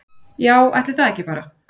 Já, ætli það ekki bara